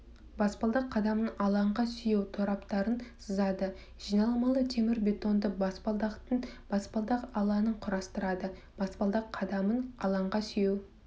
баспалдақ қадамын алаңға сүйеу тораптарын сызады жиналмалы темірбетонды баспалдақтың баспалдақ алаңын құрастырады баспалдақ қадамын алаңға сүйеу